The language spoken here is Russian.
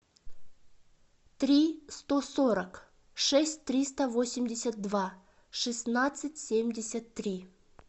три сто сорок шесть триста восемьдесят два шестнадцать семьдесят три